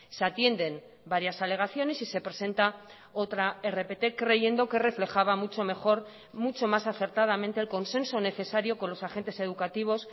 se atienden varias alegaciones y se presenta otra rpt creyendo que reflejaba mucho mejor mucho más acertadamente el consenso necesario con los agentes educativos